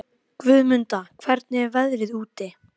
Ég ferðast undir dulnefni til lands með dulnefni.